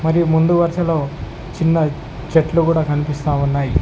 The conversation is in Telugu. మరియు ముందు వరుసలో చిన్న చెట్లు కూడా కనిపిస్తా ఉన్నాయి.